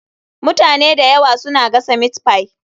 Mutane da yawa suna gasa meatpie.